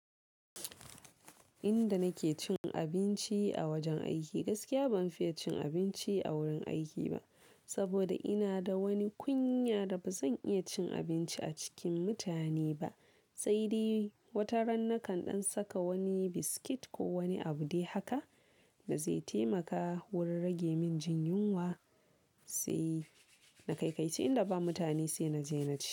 Inda nake cin abinci a wajen aiki, gaskiya ban fiye cin abinci a wurin aiki ba, saboda ina da wani kunya da bazan iya cin abinci a cikin mutane ba. Sai dai wata ran na kan ɗan saka wani biskit ko wani abu dai haka da zai taimaka wurin rage min jin yunwa, sai na kaikaici inda ba mutane sai na je na ci.